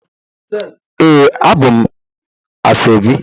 Ee, abum asoebi